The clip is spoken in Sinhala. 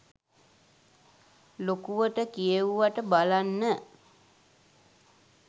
ලොකුවට කියෙව්වට බලන්න